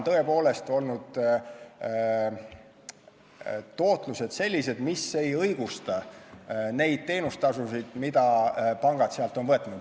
Tõepoolest, tootlused on olnud sellised, mis ei õigusta neid teenustasusid, mida pangad sealt on võtnud.